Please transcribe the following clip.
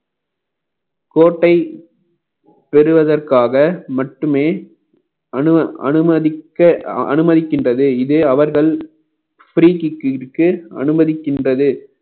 கோட்டை பெறுவதற்காக மட்டுமே அனு~ அனுமதிக்க அனுமதிக்கின்றது இதே அவர்கள் அனுமதிக்கின்றது